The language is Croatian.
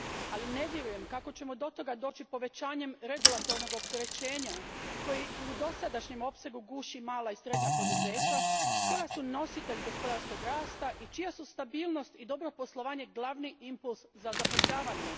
Ali ne vjerujem kako ćemo do toga doći povećanjem regulatornog opterećenja, koji u dosadašnjem opsegu guši mala i srednja poduzeća koja su nositelji gospodarskog rasta i čija su stabilnost i dobro poslovanje glavni impuls za zapošljavanje.